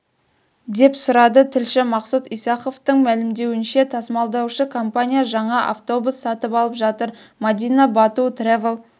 деп сұрады тілші мақсұт исаховтың мәлімдеуінше тасымалдаушы компания жаңа автобус сатып алып жатыр мадина бату трэвел